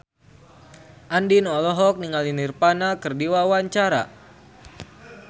Andien olohok ningali Nirvana keur diwawancara